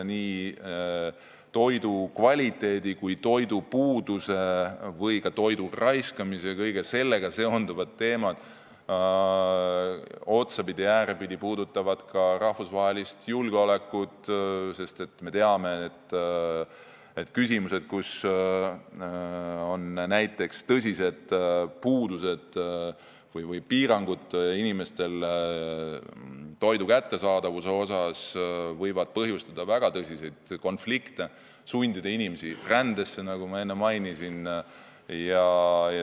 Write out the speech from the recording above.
Toidu kvaliteet, ka toidupuudus, toidu raiskamine ja kõik sellega otsapidi seonduvad teemad puudutavad ka rahvusvahelist julgeolekut, sest me teame, et kui on näiteks toidu kättesaadavuse puudusi või piiranguid, siis see võib põhjustada väga tõsiseid konflikte ja põhjustada rännet, nagu ma enne mainisin.